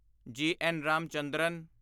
ਜੀ. ਐੱਨ. ਰਾਮਚੰਦਰਨ